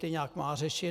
Ty nějak má řešit.